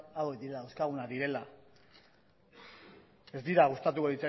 hauek dira dauzkagunak direla ez dira gustatuko